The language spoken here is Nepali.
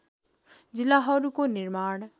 जिल्लाहरूको निर्माण